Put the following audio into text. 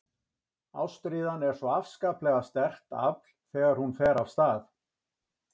Ástríðan er svo afskaplega sterkt afl þegar hún fer af stað.